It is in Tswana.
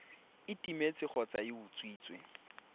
e timetse kgotsa e utswitswe